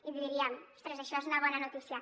i diríem ostres això és una bona notícia